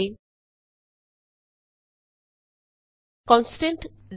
printf ਅਤੇ constant easy